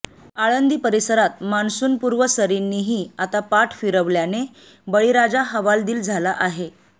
आळंदी परिसरात मान्सूनपूर्व सरींनीही आता पाठ फिरवल्याने बळीराजा हवालदिल झाला आहे